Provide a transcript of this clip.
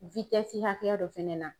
hakɛya dɔ fɛnɛ na.